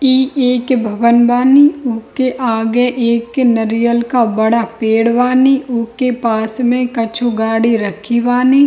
इ एक भवन बानी | उ के आगे एक नरियल का बड़ा पेड़ बानी | उ के पास में कछु गाड़ी रखी बानी |